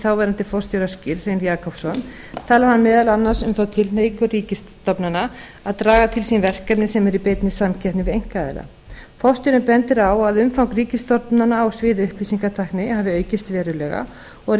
þáverandi forstjóra skýrr hrein jakobsson talar hann meðal annars um þá tilhneigingu ríkisstofnana að draga til sín verkefni sem eru í beinni samkeppni við einkaaðila forstjórinn bendir á að umfang ríkisstofnana á sviði upplýsingatækni hafi aukist verulega og að